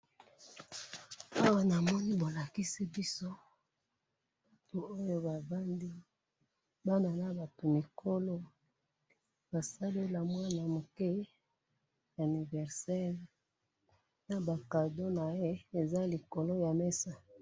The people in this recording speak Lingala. Awa namoni bolakisi biso, batu oyo bavandi, bana nabatu mikolo, basaleli mwana muke anniversaire, naba cadeau naye eza likolo yamesa.